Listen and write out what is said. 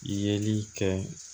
Yeli kɛ